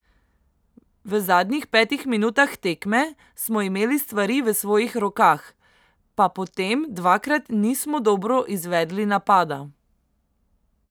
V zadnjih petih minutah tekme smo imeli stvari v svojih rokah, pa potem dvakrat nismo dobro izvedli napada.